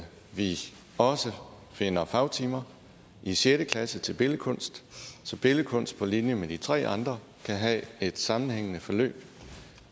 vi også finder fagtimer i sjette klasse til billedkunst så billedkunst på linje med de tre andre kan have et sammenhængende forløb